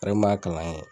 kalan kɛ